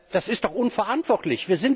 Das ist doch unverantwortlich!